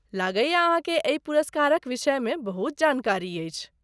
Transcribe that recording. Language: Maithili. लगैये अहाँके एहि पुरस्कारक विषयमे बहुत जानकारी अछि।